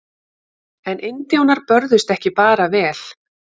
En indjánar börðust ekki bara vel.